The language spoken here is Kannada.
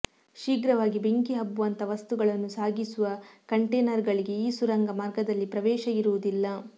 ಶೀಘ್ರವಾಗಿ ಬೆಂಕಿ ಹಬ್ಬುವಂಥ ವಸ್ತುಗಳನ್ನು ಸಾಗಿಸುವ ಕಂಟೇನರ್ ಗಳಿಗೆ ಈ ಸುರಂಗ ಮಾರ್ಗದಲ್ಲಿ ಪ್ರವೇಶ ಇರುವುದಿಲ್ಲ